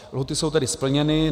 Lhůty jsou tedy splněny.